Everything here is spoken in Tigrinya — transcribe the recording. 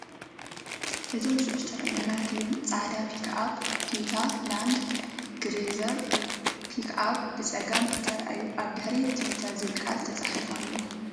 እዞም ዝስዕቡ ዝተራእዩ ነገራት እዮም፤ ጻዕዳ ፒክኣፕ፡ ቶዮታ ላንድ ክሩዘር ፒክኣፕ ብጸጋም ትርአ። ኣብ ድሕሪት 'ቶዮታ' ዝብል ቃል ተጻሒፉ ኣሎ።